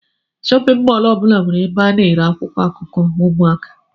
Shóppin mol ọbula nwere ebe ana ere akwụkwọ akụkọ ụmụaka.